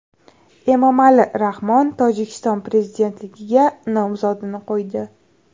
Emomali Rahmon Tojikiston prezidentligiga nomzodini qo‘ydi.